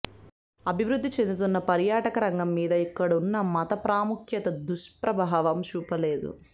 అభివృద్ధి చెందుతున్న పర్యాటక రంగం మీద ఇక్కడున్న మత ప్రాముఖ్యత దుష్ప్రభావం చూపలేదు